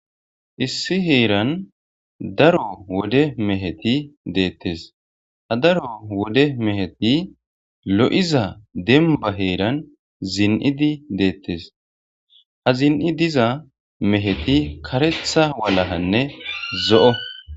issi heeran daro wude meheti deettes ha daro wode meheti lo7iza denba heeran zin7idi deettes ha zin7i diza meheti karetha walakanne zo7o